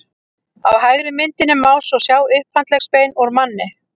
á hægri myndinni má svo sjá upphandleggsbein úr manni